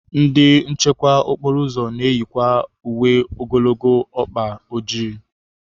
Ndị nchekwa okporo ụzọ na-eyikwa uwe ogologo ọkpa ojii.